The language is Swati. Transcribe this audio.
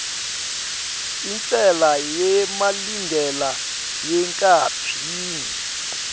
intsela yemalingena yenkapani